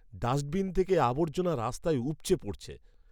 Dustbin থেকে আবর্জনা রাস্তায় উপচে পড়ছে।